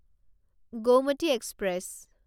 Gomti express